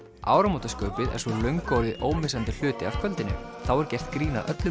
áramótaskaupið er svo löngu orðið ómissandi hluti af kvöldinu þá er gert grín að öllu